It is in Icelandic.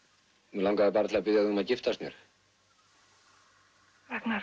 mig langaði bara til að biðja þig um að giftast mér Ragnar